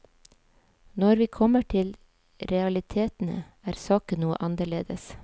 Når vi kommer til realitetene, er saken noe annerledes.